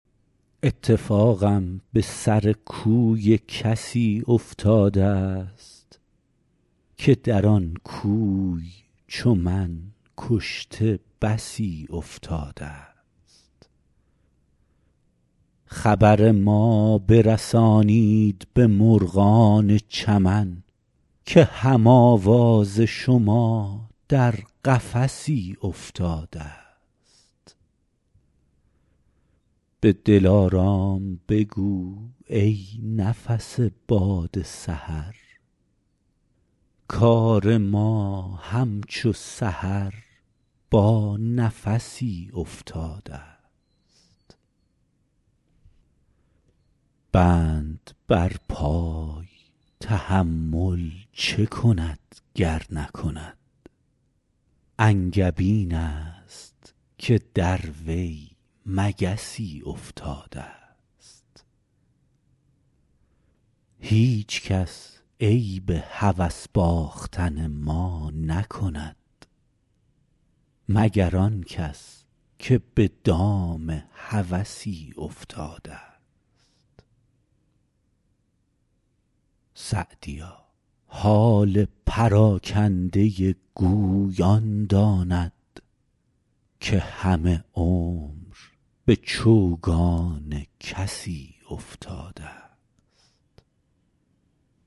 اتفاقم به سر کوی کسی افتاده ست که در آن کوی چو من کشته بسی افتاده ست خبر ما برسانید به مرغان چمن که هم آواز شما در قفسی افتاده ست به دلارام بگو ای نفس باد سحر کار ما همچو سحر با نفسی افتاده ست بند بر پای تحمل چه کند گر نکند انگبین است که در وی مگسی افتاده ست هیچکس عیب هوس باختن ما نکند مگر آن کس که به دام هوسی افتاده ست سعدیا حال پراکنده گوی آن داند که همه عمر به چوگان کسی افتاده ست